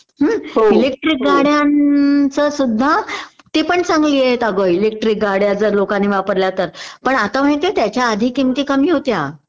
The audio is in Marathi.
इलेक्ट्रिक गाड्यांच सुद्धा आहेत. ते पण चांगली आहेत अगं इलेक्टरी गाड्या लोकांनी वापरल्या तर पण आता माहितीहे त्याच्या आधी किमती कमी होत्या